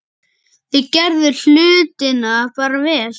Þeir gerðu hlutina bara vel.